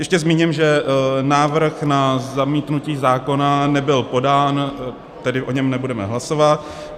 Ještě zmíním, že návrh na zamítnutí zákona nebyl podán, tedy o něm nebudeme hlasovat.